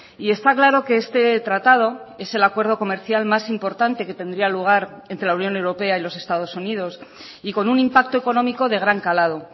y está claro que este tratado es el acuerdo comercial más importante que tendría lugar entre la unión europea y los estados unidos y con un impacto económico de gran calado